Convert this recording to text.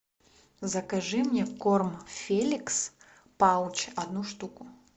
закажи мне корм феликс палч одну штуку